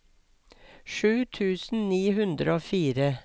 sju tusen ni hundre og fire